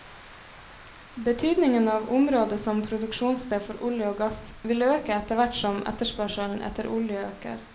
Betydningen av området som produksjonssted for olje og gass vil øke etterhvert som etterspørselen etter olje øker.